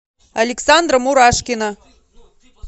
александра мурашкина